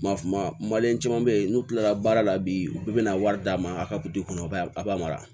Maliyɛn caman bɛ yen n'u tilala baara la bi u bɛ na wari d'a ma a ka butiki kɔnɔ a b'a mara